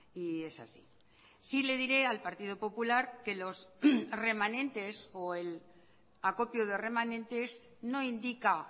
y es así sí le diré al partido popular que los remanentes o el acopio de remanentes no indica